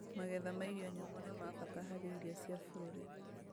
Magetha ma irio nyũmũ nĩ ma bata harĩ irio cia bũrũri